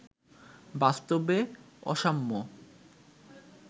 বাস্তবে অসাম্য